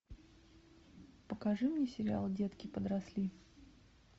покажи мне сериал детки подросли